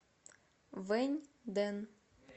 вэньдэн